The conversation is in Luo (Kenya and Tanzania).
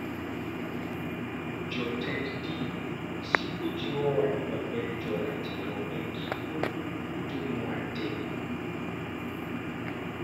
Jotend din siko jiwowa ni wabed joratiro e gik moko duto mwatimo.